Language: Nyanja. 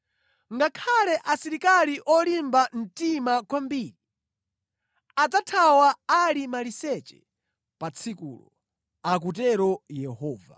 Ngakhale asilikali olimba mtima kwambiri adzathawa ali maliseche pa tsikulo,” akutero Yehova.